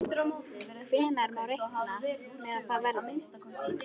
Hvenær má reikna með að það verði?